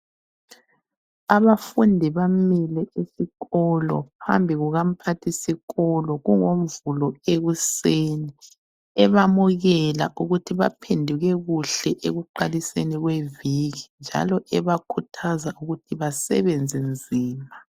Abafundi bamile esikolo phambi kukamphathisikolo. KungoMvulo ekuseni, ebamukela ukuthi baphenduke kuhle ekuqaliseni kweviki njalo ebakhuthaza ukuthi basebenze nzima.